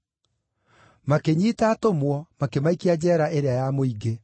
Makĩnyiita atũmwo, makĩmaikia njeera ĩrĩa ya mũingĩ.